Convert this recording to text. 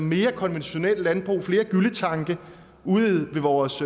mere konventionelt landbrug flere gylletanke ude i vores